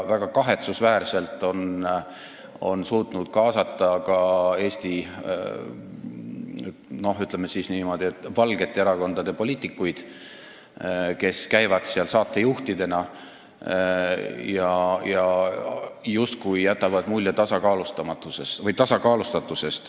Väga kahetsusväärselt on see suutnud kaasata ka Eesti, ütleme niimoodi, valgete erakondade poliitikuid, kes käivad seal saatejuhtidena ja jätavad mulje tasakaalustatusest.